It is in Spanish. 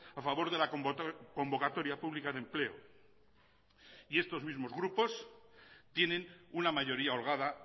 a favor de la convocatoria pública de empleo y estos mismos grupos tienen una mayoría holgada